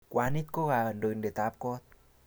Kwanit ko kandoindet ab kot